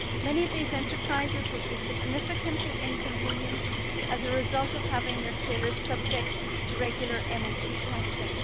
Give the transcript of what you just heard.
Many of these enterprises would be significantly inconvenienced as a result of having their trailers subject to regular MOT testing.